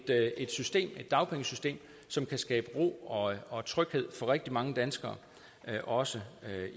dagpengesystem som kan skabe ro og og tryghed for rigtig mange danskere også